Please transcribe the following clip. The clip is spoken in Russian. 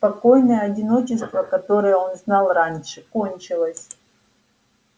спокойное одиночество которое он знал раньше кончилось